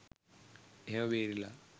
එහෙම බේරිලා